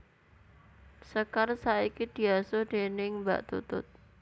Sekar saiki diasuh déning Mbak Tutut